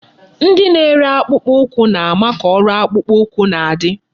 Ndị na-ere akpụkpọ ụkwụ na-ama ka ọrụ akpụkpọ ụkwụ na-adị.